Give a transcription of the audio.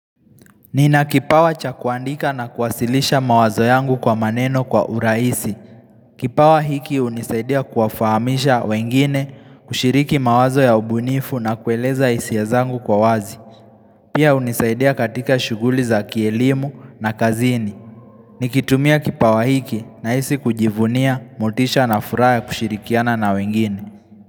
Nina kipawa cha kuandika na kuwasilisha mawazo yangu kwa maneno kwa uraisi. Kipawa hiki hunisaidia kuwafahamisha wengine kushiriki mawazo ya ubunifu na kueleza hisia zangu kwa wazi. Pia unisaidia katika shuguli za kielimu na kazini. Nikitumia kipawa hiki nahisi kujivunia, motisha na furaha ya kushirikiana na wengine.